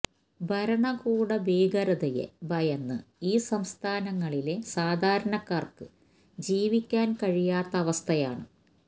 ഭരണകൂട ഭീകരതയെ ഭയന്ന് ഈ സംസ്ഥാനങ്ങളിലെ സാധാരണക്കാര്ക്ക് ജീവിക്കാന് കഴിയാത്ത അവസ്ഥയാണ്